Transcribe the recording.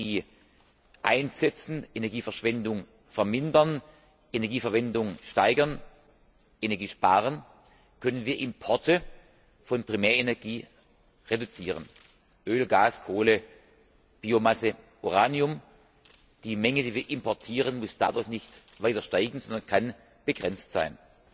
Energie einsetzen, Energieverschwendung vermindern, Energieverwendung steigern, Energie sparen Importe von Primärenergie reduzieren. Öl, Gas, Kohle, Biomasse, Uranium die Menge, die wir importieren, muss dadurch nicht weiter steigen, sondern kann begrenzt sein.